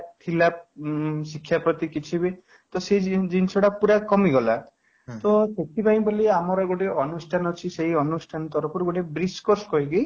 ଥିଲା ହୁଁ ବାପା ମା ଙ୍କର ଥିଲା ଯାହା ଉଁ ଶିକ୍ଷା ପ୍ରତି କିଛି ବି ତ ସେ ଜିନିଷ ଟା ପୁରା କମିଗଲା ତ ସେଥିପାଇଁ ବୋଲି ଆମର ଗୋଟେ ଅନୁଷ୍ଠାନ ଅଛି ସେଇ ଅନୁଷ୍ଠାନ ତରଫରୁ ଗୋଟେ course କରିବି